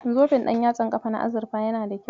Zoben ɗanyatsan kafa na azurfa yana da kyau.